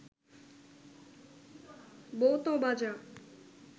বউ ত বাঁজা